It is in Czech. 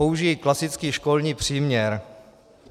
Použiji klasický školní příměr.